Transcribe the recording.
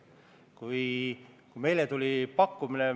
Lugupeetud kolleegid!